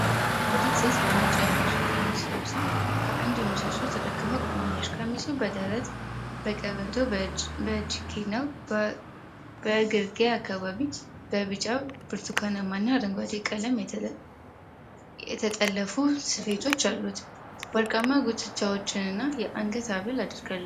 አንዲት ሴት በነጭ የሐበሻ ቀሚስ ለብሳ ከአንድ ምሰሶ ተደግፋ ቆማለች። ቀሚሱ በደረት፣ በቀበቶ፣ በእጅጌ እና በእግርጌ አካባቢ በቢጫ፣ ብርቱካናማና አረንጓዴ ቀለም የተጠለፉ ስፌቶች አሉት። ወርቃማ ጉትቻዎችና የአንገት ሀብል አድርጋለች።